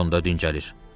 Otağında dincəlir.